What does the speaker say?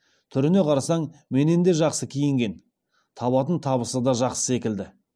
түріне қарасаң менен де жақсы киінген табатын табысы да жақсы секілді